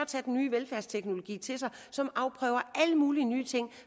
tage den nye velfærdsteknologi til sig og som afprøver alle mulige nye ting